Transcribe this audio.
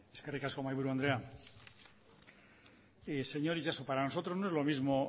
eskerrik asko mahaiburu andrea señor itxaso para nosotros no es lo mismo